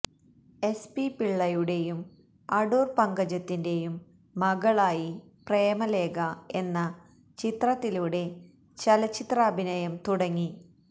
S P പിള്ളയുടേയും അടൂർ പങ്കജത്തിന്റേയും മകളായി പ്രേമലേഖ എന്ന ചിത്രത്തിലൂടെ ചലച്ചിത്രാഭിനയം തുടങ്ങി